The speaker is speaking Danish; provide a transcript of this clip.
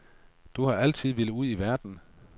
Du har altid villet ud i verden.